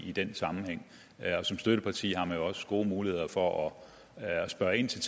i den sammenhæng og som støtteparti har man jo også gode muligheder for at spørge ind til